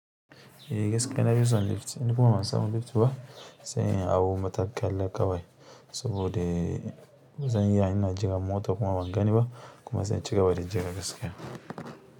Eh gaskiya na fi son lift in kuma ban san mu lift ba, sai in hau matakala kawai saboda zan iya ina jiran mota kuma ban gani ba kuma zanci gaba dajira gaskiya.